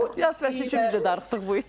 Yaz fəsli üçün biz də darıxdıq bu il.